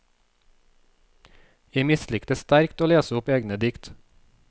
Jeg mislikte sterkt å lese opp egne dikt.